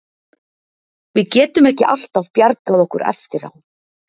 Við getum ekki alltaf bjargað okkur eftir á.